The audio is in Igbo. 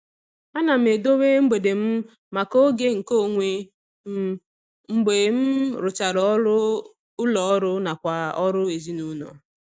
Ana m edobe mgbede m maka oge nke onwe m mgbe m rụchara ọrụ ụlọọrụ nakwa ọrụ ezinụụlọ.